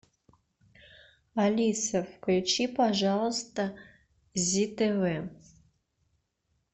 алиса включи пожалуйста зи тв